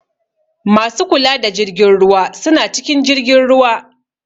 Masu kula da jirgin ruwa suna cikin jirgin ruwa.